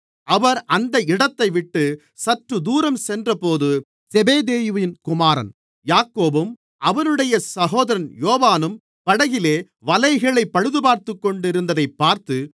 அவர் அந்த இடத்தைவிட்டுச் சற்றுதூரம் சென்றபோது செபெதேயுவின் குமாரன் யாக்கோபும் அவனுடைய சகோதரன் யோவானும் படகிலே வலைகளைப் பழுதுபார்த்துக்கொண்டிருந்ததைப் பார்த்து